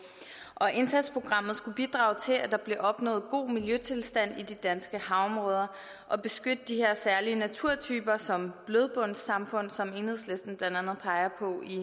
indsatsprogrammet skulle bidrage til at der blev opnået god miljøtilstand i de danske havområder og beskytte de her særlige naturtyper som blødbundssamfund som enhedslisten blandt andet peger